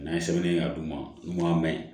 N'an ye sɛbɛnni kɛ a duguma ɲuman mɛ